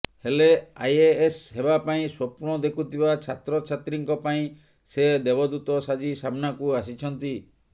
ହେଲେ ଆଇଏଏସ୍ ହେବା ପାଇଁ ସ୍ୱପ୍ନ ଦେଖୁଥିବା ଛାତ୍ରଛାତ୍ରୀଙ୍କ ପାଇଁ ସେ ଦେବଦୂତ ସାଜି ସାମ୍ନାକୁ ଆସିଛନ୍ତି